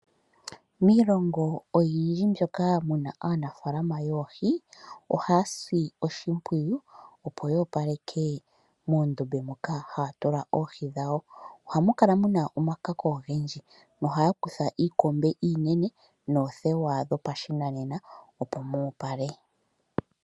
Miilongo oyindji mbyoka muna aanafalama yoohi ohaya si oshimpwiyu opo yo opaleke moondombe moka haya tula oohi dhyo. Ohamu kala muna omakako ogendji no ohaya kutha iikombe iinene noothewa dhopashinanena opo mu opale.